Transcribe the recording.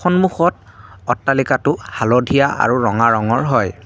সন্মুখত অট্টালিকাটো হালধীয়া আৰু ৰঙা ৰঙৰ হয়।